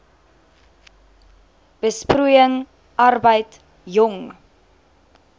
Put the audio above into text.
besproeiing arbeid jong